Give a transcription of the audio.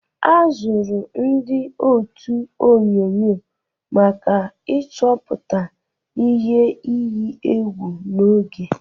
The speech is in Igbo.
A zụrụ ndị ótù onyunyo maka ịchọpụta ihe iyi egwu n'oge.